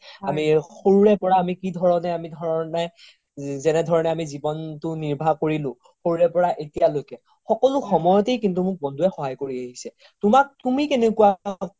আমি সৰুৰে পৰা কি ধৰণে কি ধৰণে যেনেধৰণে আমি জিৱনতো নিৰ্ভা কৰিলো সৰুৰে পৰা এতিয়া লৈকে সকলো সময়তে কিন্তু মোক বন্ধুৱে সহায় কৰি আহিছে তুমাক তুমি কেনেকুৱা